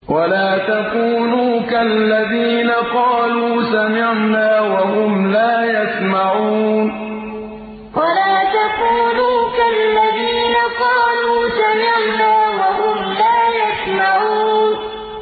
وَلَا تَكُونُوا كَالَّذِينَ قَالُوا سَمِعْنَا وَهُمْ لَا يَسْمَعُونَ وَلَا تَكُونُوا كَالَّذِينَ قَالُوا سَمِعْنَا وَهُمْ لَا يَسْمَعُونَ